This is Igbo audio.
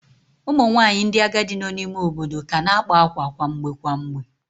Ụmụ nwanyị ndị agadi nọ n'ime ime obodo ka na-akpa akwa kwa mgbe kwa mgbe